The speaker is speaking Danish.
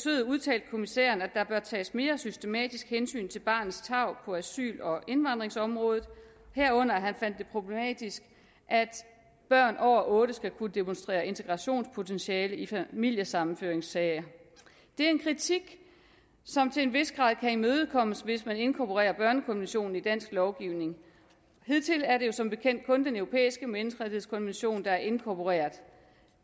udtalte kommissæren at der bør tages mere systematisk hensyn til barnets tarv på asyl og indvandrerområdet herunder fandt han det problematisk at børn over otte år skal kunne demonstrere integrationspotentiale i familiesammenføringssager det er en kritik som til en vis grad kan imødekommes hvis man inkorporerer børnekonventionen i dansk lovgivning hidtil er det jo som bekendt kun den europæiske menneskerettighedskonvention der er inkorporeret